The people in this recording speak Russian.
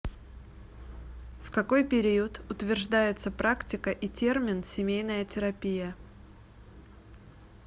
в какой период утверждается практика и термин семейная терапия